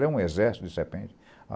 Era um exército de serpentes.